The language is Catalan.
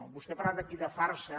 vostè ha parlat aquí de farsa